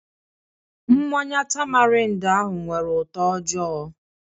Mmanya tamarind ahụ nwere ụtọ ojoo